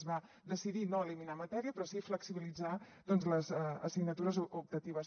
es va decidir no eliminar matèria però sí flexibilitzar les assignatures optatives